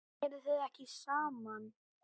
Eruð þið ekki saman?